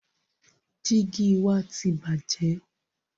Jígì wa ti bàjẹ́.